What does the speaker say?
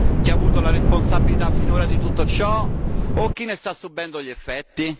Chi ha avuto la responsabilità finora di tutto ciò o chi ne sta subendo gli effetti?